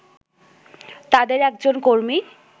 তাদের একজন কর্মী